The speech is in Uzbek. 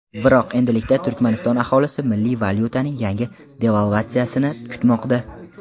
Biroq endilikda Turkmaniston aholisi milliy valyutaning yangi devalvatsiyasini kutmoqda.